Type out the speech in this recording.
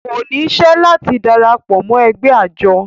kò ní isẹ́ láti darapọ̀ mọ́ ẹgbẹ́ àjọ